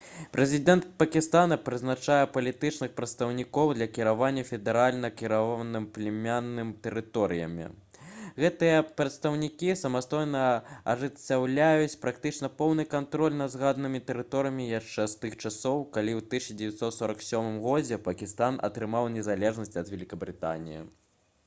прэзідэнт пакістана прызначае «палітычных прадстаўнікоў» для кіравання федэральна кіраванымі племяннымі тэрыторыямі. гэтыя прадстаўнікі самастойна ажыццяўляюць практычна поўны кантроль над згаданымі тэрыторыямі яшчэ з тых часоў калі ў 1947 годзе пакістан атрымаў незалежнасць ад вялікабрытаніі